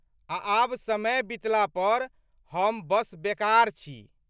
आ आब समय बितला पर, हम बस बेकार छी!